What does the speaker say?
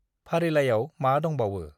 फारिलाइआव मा दंबावो?